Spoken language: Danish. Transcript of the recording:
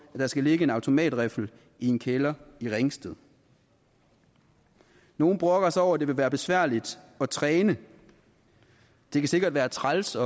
der skal ligge en automatriffel i en kælder i ringsted nogle brokker sig over at det vil være besværligt at træne det kan sikkert være træls